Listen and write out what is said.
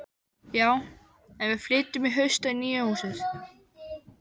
Já, en við flytjum í haust í nýja húsið.